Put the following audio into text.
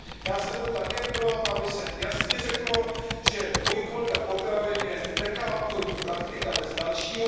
Já jsem byl také pro, aby se jasně řeklo, že dvojí kvalita potravin je nekalá obchodní praktika bez dalšího.